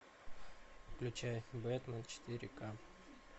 включай бэтмен четыре ка